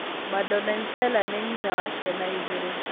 Madonsela nĩ nyina wa ciana igĩrĩ.